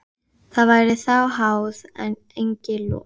Það væri þá háð, en eigi lof.